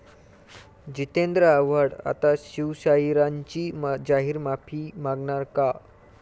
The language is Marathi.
जितेंद्र आव्हाड आता शिवशाहिरांची जाहीर माफी मागणार का?